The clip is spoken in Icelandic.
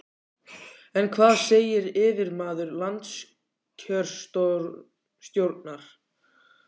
En hvað segir yfirmaður landskjörstjórnar?